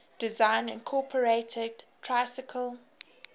design incorporated tricycle